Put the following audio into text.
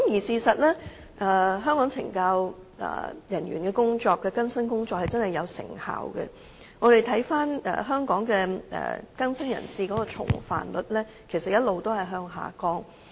事實上，香港懲教人員的更生工作也確實有成效，我們看到香港更生人士的重犯率一直下降。